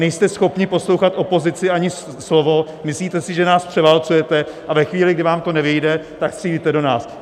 Nejste schopni poslouchat opozici, ani slovo, myslíte si, že nás převálcujete, a ve chvíli, kdy vám to nevyjde, tak střílíte do nás.